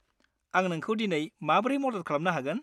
आं नोंखौ दिनै माब्रै मदद खालामनो हागोन?